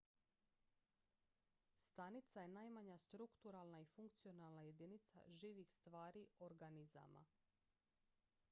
stanica je najmanja strukturalna i funkcionalna jedinica živih stvari organizama